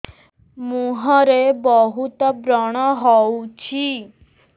ମୁଁହରେ ବହୁତ ବ୍ରଣ ହଉଛି